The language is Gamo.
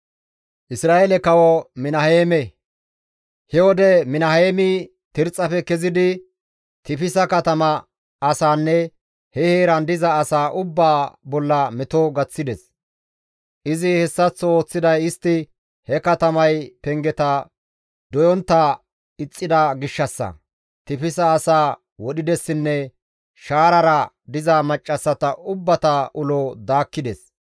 He wode Minaheemi Tirxxafe kezidi Tifisa katama asaanne he heeran diza asaa ubbaa bolla meto gaththides; izi hessaththo ooththiday istti he katamay pengeta doyontta ixxida gishshassa; Tifisa asaa wodhidessinne shaarara diza maccassata ubbata ulo daakkides.